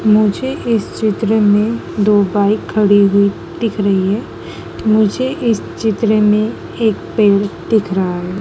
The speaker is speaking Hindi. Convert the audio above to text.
मुझे इस चित्र में दो बाइक खड़ी हुई दिख रही है। मुझे इस चित्र में एक पेड़ दिख रहा है।